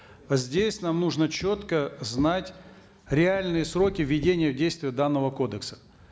здесь нам нужно четко знать реальные сроки введения в действие данного кодекса